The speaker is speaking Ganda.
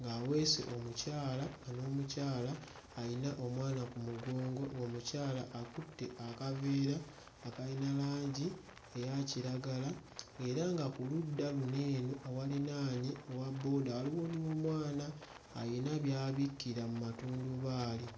ng'aweese omukyala nga n'omukyala alina omwana ku mugongo. Oomukyala akutte akaveera akalina langi eya kiragala era nga ku ludda luno eno ewalinaanye owa bbooda waliwo n'omwana alina by'abikkira mu matundubaali.